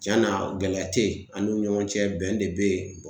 Cɛn na gɛlɛya tɛ yen ani ɲɔgɔn cɛ, bɛn de bɛ yen .